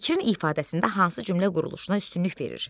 Fikrin ifadəsində hansı cümlə quruluşuna üstünlük verir?